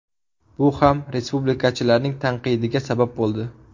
Bu ham respublikachilarning tanqidiga sabab bo‘ldi.